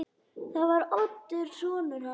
Það var Oddur sonur hans.